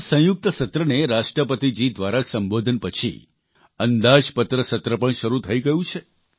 સંસદના સંયુક્ત સત્રને રાષ્ટ્રપતિજી દ્વારા સંબોધન પછી અંદાજપત્ર સત્ર પણ શરૂ થઇ ગયું છે